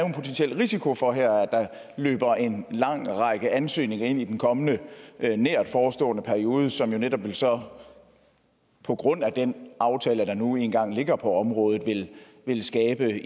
en potentiel risiko for at der løber en lang række ansøgninger ind i den kommende nærtforestående periode som jo netop på grund af den aftale der nu engang ligger på området vil skabe